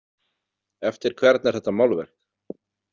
Eftir hvern er þetta málverk?